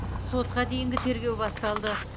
сотқа дейінгі тергеу басталды